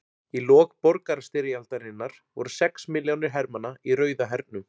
Í lok borgarastyrjaldarinnar voru sex milljónir hermanna í Rauða hernum.